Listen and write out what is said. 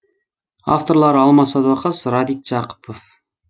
авторлары алмас садуақас радик жақыпов